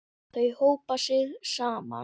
Þau hópa sig saman.